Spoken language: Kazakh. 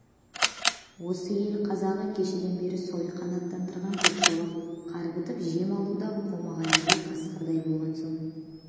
осы ел қазағы кешеден бері сойқан атандырған көкшолақ қарбытып жем алуда қомайғайлығы қасқырдай болған соң